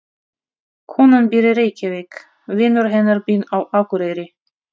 Konan býr í Reykjavík. Vinur hennar býr á Akureyri.